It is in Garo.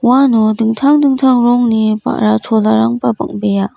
uano dingtang dingtang rongni ba·ra cholarangna bang·bea.